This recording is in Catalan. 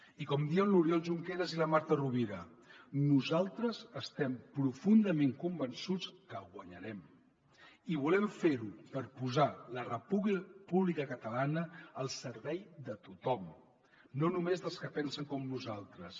i com diuen l’oriol junqueras i la marta rovira nosaltres estem profundament convençuts que guanyarem i volem fer ho per posar la república catalana al servei de tothom no només dels que pensen com nosaltres